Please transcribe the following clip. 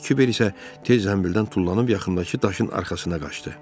Kiber isə tez zənbildən tullanıb yaxındakı daşın arxasına qaçdı.